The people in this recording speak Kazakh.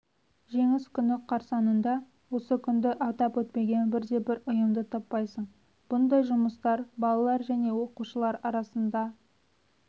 жеңіс күні қарсаңында осы күнді атап өтпеген бірде-бір ұйымды таппайсың бұндай жұмыстар балалар және оқушылар арасында